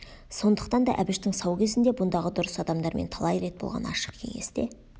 сондықтан да әбіштің сау кезінде бұндағы дұрыс адамдармен талай рет болған ашық кеңесте